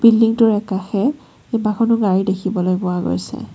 বিল্ডিংটোৰ একাষে কেইবাখনো গাড়ী দেখিবলৈ পোৱা গৈছে।